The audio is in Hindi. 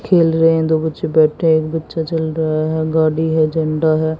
खेल रहे हैं दो बच्चे बैठे हैं एक बच्चा चल रहा है गाड़ी है झंडा है।